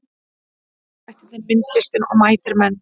Bjargvættirnir myndlistin og mætir menn